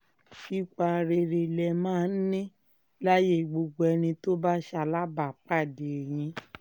ipa rere lẹ máa ń ní láyé gbogbo ẹni tó bá ṣalábàápàdé yín